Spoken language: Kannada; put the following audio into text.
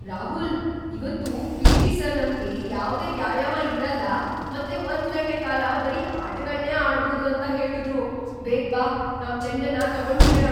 ರಾಹುಲ್! ಇವತ್ತು ಪಿ.ಟಿ. ಸರ್ ನಮ್ಗೆ ಯಾವ್ದೇ ವ್ಯಾಯಾಮ ಇರಲ್ಲ ಮತ್ತೆ ಒಂದು ಗಂಟೆ ಕಾಲ ಬರೀ ಆಟಗಳ್ನೇ ಆಡ್ಬೋದು ಅಂತ ಹೇಳುದ್ರು! ಬೇಗ್ ಬಾ, ನಾವ್ ಚೆಂಡನ್ನ ತಗೊಂಡ್ಬಿಡೋಣ!